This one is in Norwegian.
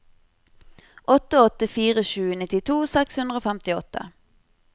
åtte åtte fire sju nittito seks hundre og femtiåtte